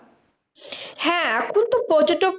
হ্যাঁ এখন তো পর্যটক